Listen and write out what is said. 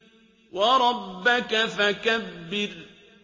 وَرَبَّكَ فَكَبِّرْ